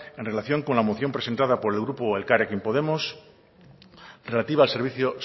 en relación con la moción presentado por el grupo elkarrekin podemos relativa al servicio